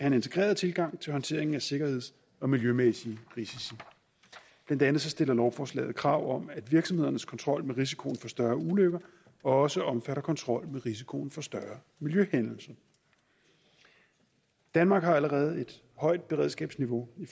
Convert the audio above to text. en integreret tilgang til håndteringen af sikkerheds og miljømæssige risici blandt andet stiller lovforslaget krav om at virksomhedernes kontrol med risikoen for større ulykker også omfatter kontrol med risikoen for større miljøhændelser danmark har allerede et højt beredskabsniveau i